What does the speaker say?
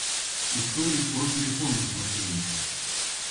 истории про телефонных мошенников